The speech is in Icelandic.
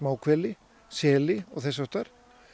smáhveli seli og þess háttar